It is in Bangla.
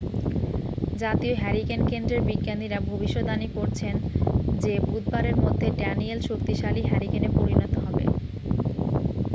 জাতীয় হ্যারিকেন কেন্দ্রের বিজ্ঞানীরা ভবিষ্যদ্বাণী করছেন যে বুধবারের মধ্যে ড্যানিয়েল শক্তিশালী হ্যারিকেনে পরিণত হবে